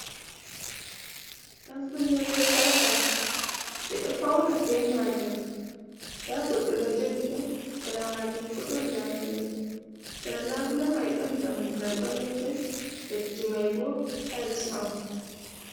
Ɗan kunne be sarka ɓe ɗo fauna bei majum da goddo ɗo jogi ɗum sara majun bo don labulai sara labule mai don dammugal balejun leddi mai bo tayes on.